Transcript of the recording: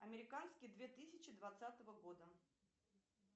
американский две тысячи двадцатого года